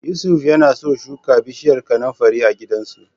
Yusuf yana so shuka bishiyar kanunfari a gidansu.